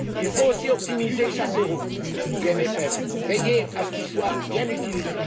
Il faut aussi optimiser chaque euro du CFP, veiller à ce qu'il soit bien utilisé.